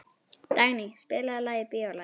Dagný, spilaðu lagið „Bíólagið“.